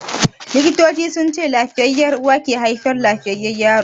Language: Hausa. Likitocin sunce lafiyayya uwa ke haifar lafiyayyan yaro.